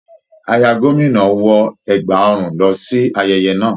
Aya Gomina wọ ẹgba ọrùn lọ sí ayẹyẹ náà.